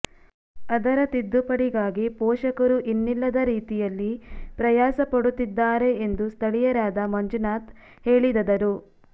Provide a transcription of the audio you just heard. ಅದರ ತಿದ್ದುಪಡಿಗಾಗಿ ಪೋಷಕರು ಇನ್ನಿಲ್ಲದ ರೀತಿಯಲ್ಲಿ ಪ್ರಯಾಸ ಪಡುತ್ತಿದ್ದಾರೆ ಎಂದು ಸ್ಥಳೀಯರಾದ ಮಂಜುನಾಥ್ ಹೇಳಿದದರು